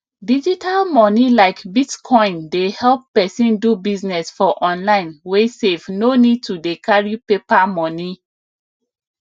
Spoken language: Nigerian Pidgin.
digital money like bitcoin dey help pesin do business for online wey safe no need to dey carry paper money